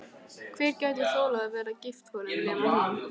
Hver gæti þolað að vera gift honum nema hún?